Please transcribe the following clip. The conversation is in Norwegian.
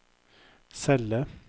celle